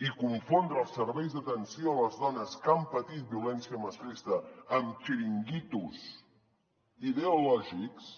i confondre els serveis d’atenció a les dones que han patit violència masclista amb xiringuitos ideològics